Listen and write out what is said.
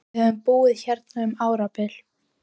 Við höfum búið hérna um árabil!